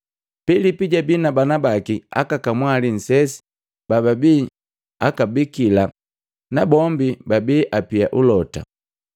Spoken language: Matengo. Pilipu jabii na bana baki aka kamwali nsesi bababii akabikila nabombi babii apia ulota.